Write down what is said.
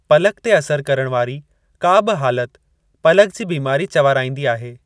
पलक ते असरु करण वारी का बि हालत पलक जी बिमारी चवाराईंदी आहे।